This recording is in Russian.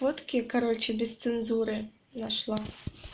фотки короче без цензуры нашла